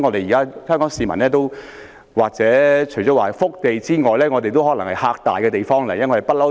現時香港市民......香港除了是福地外，也可說是"嚇大"的地方。